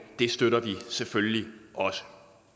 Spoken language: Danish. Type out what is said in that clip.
støtter vi selvfølgelig også